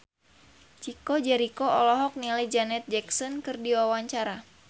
Chico Jericho olohok ningali Janet Jackson keur diwawancara